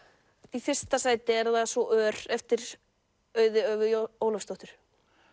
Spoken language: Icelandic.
í fyrsta sæti er það svo ör eftir Auði Ólafsdóttur